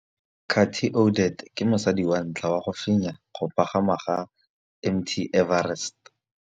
Cathy Odowd ke mosadi wa ntlha wa go fenya go pagama ga Mt Everest.